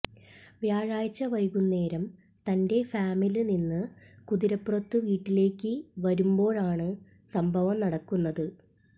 വ്യാഴാഴ്ച വൈകുന്നേരം തന്റെ ഫാമില് നിന്ന് കുതിരപ്പുറത്ത് വീട്ടിലേക്ക് വരുമ്പോഴാണ് സംഭവം നടക്കുന്നത്